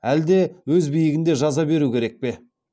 әлде өз биігінде жаза беру керек пе